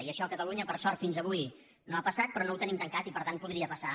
i això a catalunya per sort fins avui no ha passat però no ho tenim tancat i per tant podria passar